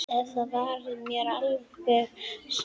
Eftir það var mér alveg sama.